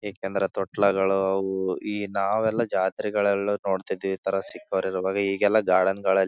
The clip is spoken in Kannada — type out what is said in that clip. ಏಕೆಂದ್ರೆ ತೋಟ್ಲಗಳು ಅವು ಈ ನಾವೆಲ್ಲ ಜಾತ್ರೆಗಳಲ್ಲಿ ನೋಡ್ತಿದ್ವಿ ಈ ತರ ಚಿಕ್ಕೋರಿರುವಾಗ ಈಗೆಲ್ಲ ಗಾರ್ಡನ್ ಗಳಲ್ಲಿ --